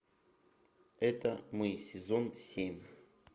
это мы сезон семь